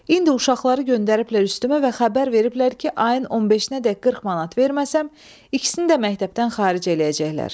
İndi uşaqları göndəriblər üstümə və xəbər veriblər ki, ayın 15-nəcən 40 manat verməsəm, ikisini də məktəbdən xaric eləyəcəklər.